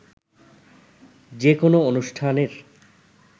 যে কোনো অনুষ্ঠানের